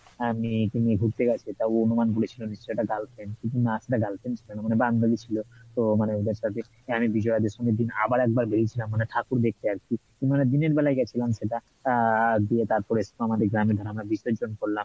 ঘুড়তে গেছে বান্ধবী ছিলো, তো মানে ওদের সাথে আমি বিজয়া দশমীর দিন আবার একবার বেড়িয়েছিলাম মানে ঠাকুর দেখতে আর কি মানে দিনের বেলাই গেছিলাম সেটা আহ দিয়ে বিসর্জন করলাম